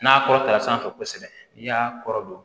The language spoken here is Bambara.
N'a kɔrɔtara sanfɛ kosɛbɛ n'i y'a kɔrɔdon